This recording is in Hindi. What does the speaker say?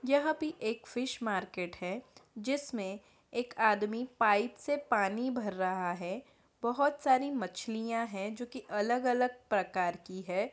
यह पे एक फिश मार्केट है जिसमें एक आदमी पाइप से पानी भर रहा है। बहोत सारी मछलियाँ हैं जो की अलग-अलग प्रकार की है ।